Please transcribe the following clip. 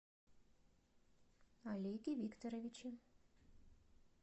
олеге викторовиче